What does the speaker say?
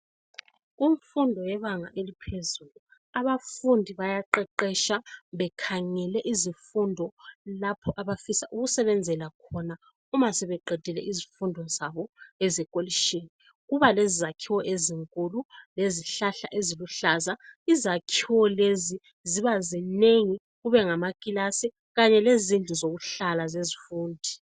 Kumfundo yebanga eliphezulu abafundi bayaqeqetsha bekhangele izifundo lapho abafisa ukusebenzela khona uma sebeqedile izifundo zabo ezekolitshini. Kuba lezakhiwo ezinkulu lezihlahla eziluhlaza. Izakhiwo lezi ziba zinengi kube ngamakilasu kanye lezindlu zokuhlala zezifundi.